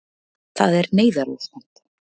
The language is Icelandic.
Það er neyðarástand